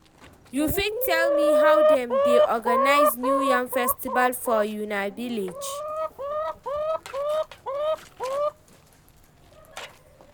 you fit tell me how them dey organize new yam festival for una village?